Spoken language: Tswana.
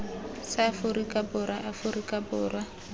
sa aforika borwa aforika borwa